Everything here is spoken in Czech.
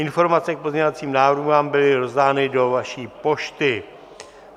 Informace k pozměňovacím návrhům vám byly rozdány do vaší pošty.